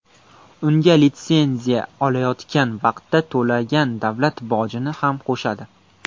Unga litsenziya olayotgan vaqtda to‘lagan davlat bojini ham qo‘shadi.